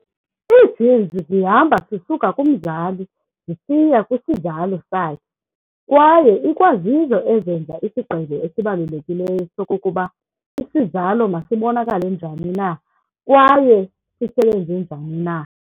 Ii-genes zihamba zisuka kumzali zisiya kwisizalo sakhe kwaye ikwazizo ezenza isigqibo esibalulekileyo sokokuba isizalo masibonakale njani na kwaye sisebenze njani na.